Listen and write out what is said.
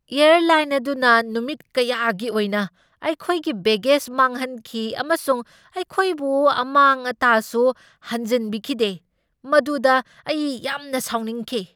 Airline ꯑꯗꯨꯅ ꯅꯨꯃꯤꯠ ꯀꯌꯥꯒꯤ ꯑꯣꯏꯅ ꯑꯩꯈꯣꯏꯒꯤ ꯕꯦꯒꯦꯖ ꯃꯥꯡꯍꯟꯈꯤ ꯑꯃꯁꯨꯡ ꯑꯩꯈꯣꯏꯕꯨ ꯑꯃꯥꯡ ꯑꯇꯥꯁꯨ ꯍꯟꯖꯤꯟꯕꯤꯈꯤꯗꯦ, ꯃꯗꯨꯗ ꯑꯩ ꯌꯥꯝꯅ ꯁꯥꯎꯅꯤꯡꯈꯤ꯫